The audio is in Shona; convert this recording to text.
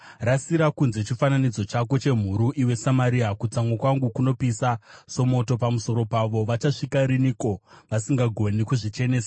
Rasira kunze chifananidzo chako chemhuru, iwe Samaria! Kutsamwa kwangu kunopisa somoto pamusoro pavo. Vachasvika kupiko vasingagoni kuzvichenesa?